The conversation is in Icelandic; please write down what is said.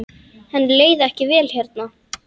Henni leið ekkert vel hérna.